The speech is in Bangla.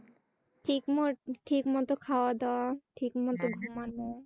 ঠিকমত খাওয়া-দাওয়া, ঠিকমত ঘুমানো।